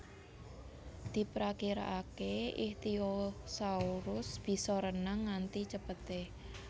Diprakirakakè ichthyosaurus bisa renang nganti cepetè